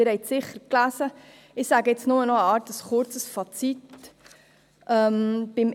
Sie haben die Forderungen sicher gelesen, weshalb ich nur noch ein kurzes Fazit ziehe.